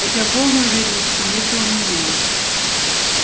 хотя полной уверенности нет и у меня